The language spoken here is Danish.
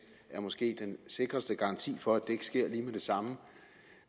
er måske den sikreste garanti for at det ikke sker lige med det samme